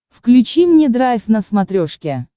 включи мне драйв на смотрешке